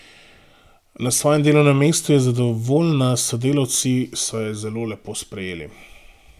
Na svojem delovnem mestu je zadovoljna, sodelavci so jo zelo lepo sprejeli.